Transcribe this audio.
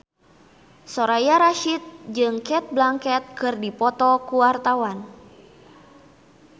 Soraya Rasyid jeung Cate Blanchett keur dipoto ku wartawan